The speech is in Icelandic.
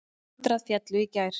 Hundrað féllu í gær.